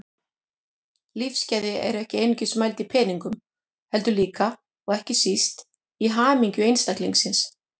Lífsgæði eru ekki einungis mæld í peningum heldur líka, og ekki síst, í hamingju einstaklingsins.